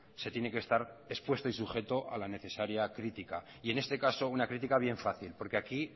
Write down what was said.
se tiene que estar expuesto y sujeto a la necesaria crítica y en este caso una crítica bien fácil porque aquí